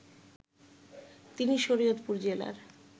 তিনি শরীয়তপুর জেলার